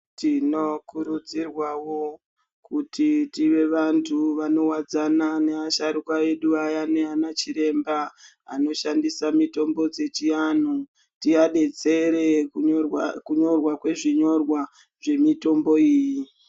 Tino kurudzirwawo kuti tive vantu vano wadzana ne asharuka edu ayani ana chiremba anoshandisa mitombo dzechi anhu tia detsere kunyorwa kwe zvinyorwa zve mitombo iyi.